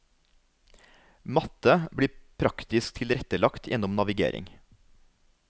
Matte blir praktisk tilrettelagt gjennom navigering.